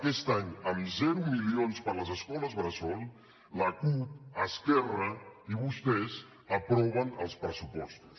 aquest any amb zero milions per a les escoles bressol la cup esquerra i vostès aproven els pressupostos